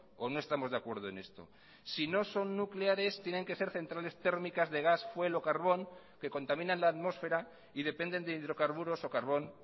o no estamos de acuerdo en esto si no son nucleares tienen que ser centrales térmicas de gas fuel o carbón que contaminan la atmósfera y dependen de hidrocarburos o carbón